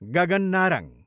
Gagan Narang